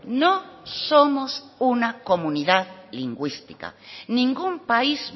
no somos una comunidad lingüística ningún país